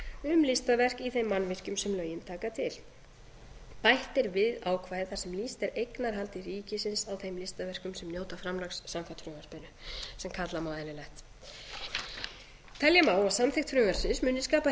ráðgjöf um listaverk í þeim mannvirkjum sem lögin taka til bætt er við ákvæði þar sem lýst er eignarhaldi ríkisins á þeim listaverkum sem njóta framlags samkvæmt frumvarpinu sem kalla má eðlilegt telja má að samþykkt frumvarpsins muni skapa